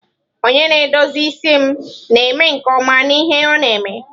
Onye na-edozi isi m na-eme nke ọma n'ihe ọ na-eme.